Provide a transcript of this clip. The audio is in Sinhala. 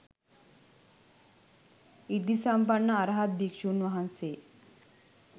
සෘද්ධිසම්පන්න අරහත් භික්ෂූන් වහන්සේ